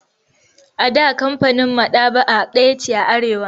A da kamfanin maɗaba'a ɗaya ce a Arewa.